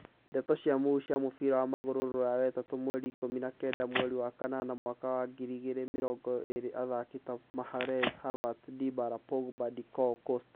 Ndeto cia mũhuhu cia mũbira wa magũrũ Rũraya wetatũ mweri ikũmi na kenda mweri wa kanana mwaka wa ngiri igĩrĩ mĩrongo ĩrĩ athaki ta Magalhaes, Havertz, Dybala, Pogba, Doucoure, Costa